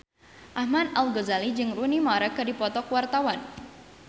Ahmad Al-Ghazali jeung Rooney Mara keur dipoto ku wartawan